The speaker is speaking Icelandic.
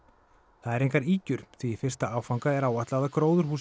það eru engar ýkjur því í fyrsta áfanga er áætlað að gróðurhúsið